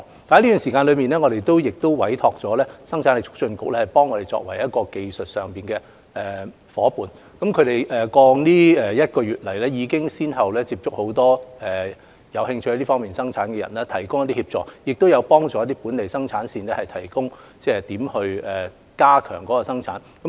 在這期間，我們委託了生產力促進局作技術上的夥伴，他們在過去一個月已先後接觸很多有興趣在這方面生產的人，並提供協助，亦曾協助一些本地生產線探討如何增加產量。